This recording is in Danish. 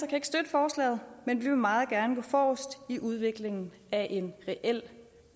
kan ikke støtte forslaget men vi vil meget gerne gå forrest i udviklingen af en reel